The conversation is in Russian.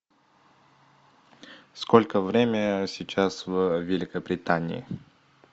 сколько время сейчас в великобритании